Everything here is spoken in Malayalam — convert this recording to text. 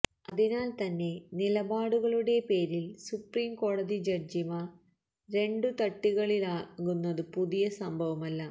അതിനാൽ തന്നെ നിലപാടുകളുടെ പേരിൽ സുപ്രീം കോടതി ജഡ്ജിമാർ രണ്ടു തട്ടിലാകുന്നതു പുതിയ സംഭവമല്ല